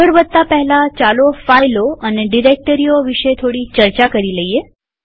આગળ વધતા પહેલા ચાલો ફાઈલો અને ડિરેક્ટરીઓ વિશે થોડી ચર્ચા કરીએ